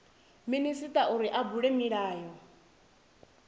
minisita uri a bule milayo